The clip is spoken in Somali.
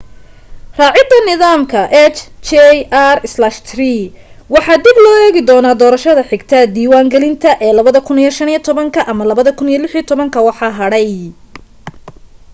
raacida nidaamka hjr-3 waxaa dib loo eegi doona doorashada xigta diiwan gelinta ee 2015 ama 2016 waxa hadhay